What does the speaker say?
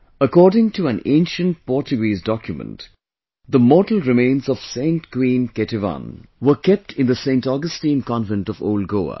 According to an ancient Portuguese document, the mortal remains of Saint Queen Ketevan were kept in the Saint Augustine Convent of Old Goa